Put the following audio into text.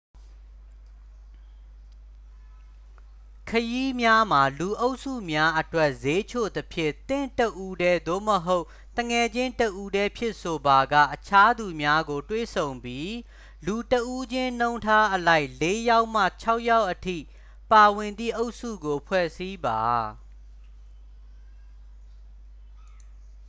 ခရီးများမှာ လူအုပ်စုများအတွက် စျေးချိုသဖြင့် သင့်တစ်ဦးတည်း သို့မဟုတ် သူငယ်ချင်းတစ်ဦီးတည်းဖြင့်ဆိုပါက အခြားသူများကို တွေ့ဆုံပြီး လူတစ်ဦးချင်းနှုန်းထားအလိုက် လေး‌ယောက်မှ ခြောက်ယောက်အထိ ပါဝင်သည့် အုပ်စုကို ဖွဲ့စည်းပါ။